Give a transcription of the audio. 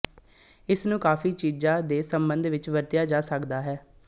ਇਸਨੂੰ ਕਾਫ਼ੀ ਚੀਜ਼ਾਂ ਦੇ ਸੰਬੰਧ ਵਿੱਚ ਵਰਤਿਆ ਜਾ ਸਕਦਾ ਹੈ